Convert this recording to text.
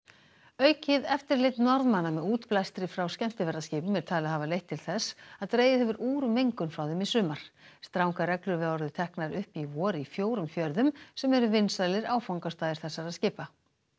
aukið eftirlit Norðmanna með útblæstri frá skemmtiferðaskipum er talið hafa leitt til þess að dregið hefur úr mengun frá þeim í sumar strangar reglur voru teknar upp í vor í fjórum fjörðum sem eru vinsælir áfangastaðir þessara skipa